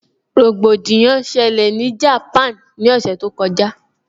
Rògbòdìyàn ṣẹlẹ̀ ní Japan ní ọ̀sẹ̀ tó kọjá